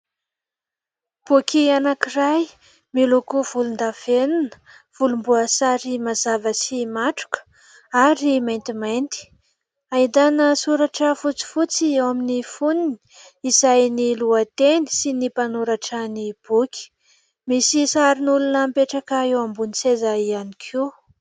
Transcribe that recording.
Boky anankiray miloko volondavenona, volomboasary mazava sy matroka ary maintimainty. Ahitana soratra fotsifotsy eo amin'ny foniny izay ny lohateny sy ny mpanoratra ny boky. Misy sarin'olona mipetraka eo ambony seza ihany koa.